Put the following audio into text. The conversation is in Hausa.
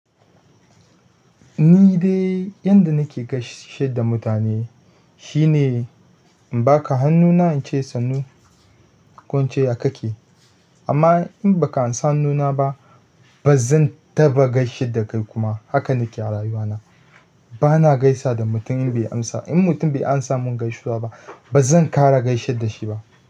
Ni dai yanda nake gaishe da mutane. Shine in baka hannuna in ce sannu, ko in ce ya kake? Amma in baka ansa hannuna ba bazan taɓa gaishe da kai kuma. Haka nake a rayuwana. Bana gaisa da mutum bai amsa. In mutum bai amsa mun gaisuwa ba bazan ƙara gaishe da shi ba.